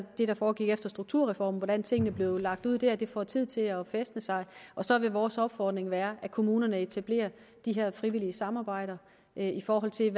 det der foregik efter strukturreformen hvordan tingene blev lagt ud der og at det får tid til at fæstne sig og så vil vores opfordring være at kommunerne etablerer de her frivillige samarbejder i forhold til